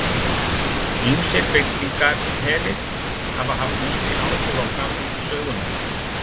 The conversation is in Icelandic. Ýmsir byltingarherir hafa haft mikil áhrif á framvindu sögunnar.